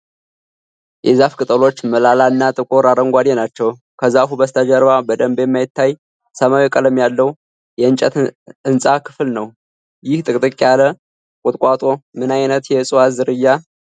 የዛፉ ቅጠሎች ሞላላ እና ጥቁር አረንጓዴ ናቸው። ከዛፉ በስተጀርባ በደንብ የማይታይ ሰማያዊ ቀለም ያለው የእንጨት ሕንጻ ክፍል ነው። ይህ ጥቅጥቅ ያለ ቁጥቋጦ ምን አይነት የእጽዋት ዝርያ ሊሆን ይችላል?